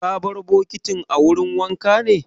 Ka bar bokitin a wurin wanka ne?